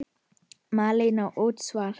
Malen: Útsvar.